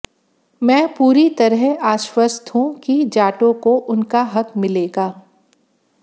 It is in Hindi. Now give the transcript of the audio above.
मैं पूरी तरह आश्वस्त हूं कि जाटों को उनका हक मिलेगा